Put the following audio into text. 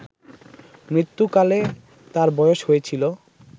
মৃত্যুকালে তার বয়স হয়েছিল